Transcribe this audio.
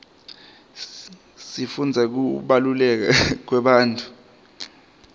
sifundza ngekubaluleka kwebantfu